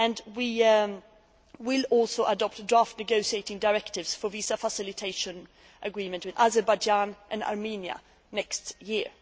We will also adopt draft negotiating directives for a visa facilitation agreement with Azerbaijan and Armenia next